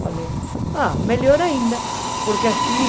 Falei, ah, melhor ainda, porque assim...